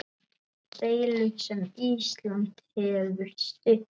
Deilu sem Ísland hefur stutt.